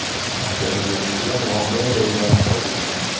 Jabrlanuvchilar voqea joyida vafot etgan .